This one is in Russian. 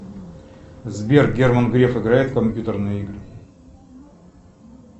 сбер герман греф играет в компьютерные игры